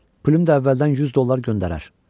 Plüm də əvvəldən 100 dollar göndərər.